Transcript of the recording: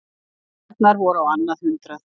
Ærnar voru á annað hundrað.